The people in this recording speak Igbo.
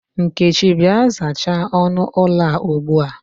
Nkechi, Bịa, zachaa ọnụ ụlọ a ugbua!